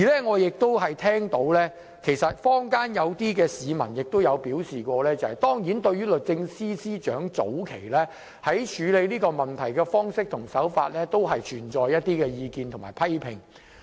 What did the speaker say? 我聽到坊間有些市民表示......當然，對於律政司司長早期處理問題的方式和手法，確實有一些意見和批評。